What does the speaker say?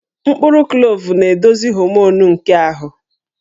Mkpụrụ klove na-edozi homonụ nke ahụ